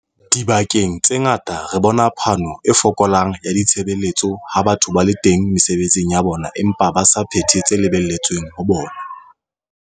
Dibakeng tse ngata re bona phano e fokolang ya ditshebeletso ha batho ba le teng mesebetsing ya bona empa ba sa phethe tse lebelletsweng ho bona.